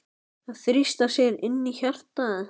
Að þrýsta sér inn í hjartað.